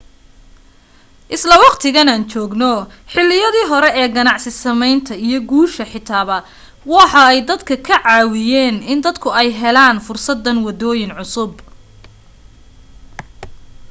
isla waqtigan aan joogno xiliyadii hore ee ganacsi sameynta iyo guusha xitaba waxa ay dadka ka caawiyen in dadku ay u helaan fursadan wadooyin cusub